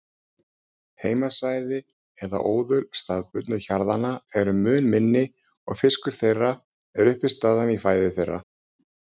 Heimasvæði eða óðul staðbundnu hjarðanna eru mun minni og fiskur er uppistaðan í fæðu þeirra.